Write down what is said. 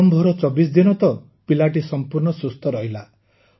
ଆରମ୍ଭର ୨୪ ଦିନ ତ ପିଲାଟି ସମ୍ପୂର୍ଣ୍ଣ ସୁସ୍ଥ ରହିଲା